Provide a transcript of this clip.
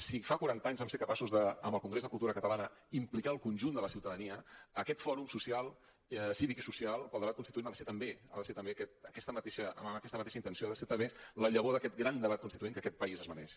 si fa quaranta anys vam ser capaços amb el congrés de cultura catalana d’implicar el conjunt de la ciutadania aquest fòrum cívic i social per al debat constituent ha de ser també amb aquesta mateixa intenció ha de ser també la llavor d’aquest gran debat constituent que aquest país es mereix